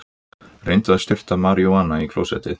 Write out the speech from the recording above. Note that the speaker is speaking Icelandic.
Reyndi að sturta maríjúana í klósettið